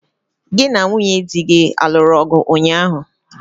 Gị na nwunye dị gị aluru ọgụ ụnyaahụ?